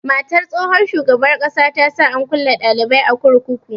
Matar tsohon shugaban ƙasa ta sa an kulle dalibi a kurkuku.